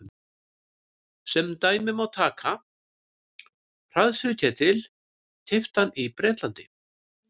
sem dæmi má taka hraðsuðuketil keyptan í bretlandi